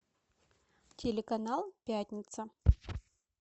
телеканал пятница